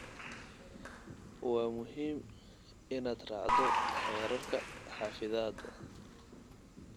Waa muhiim inaad raacdo xeerarka xafidaada.